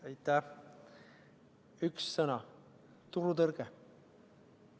Aitäh!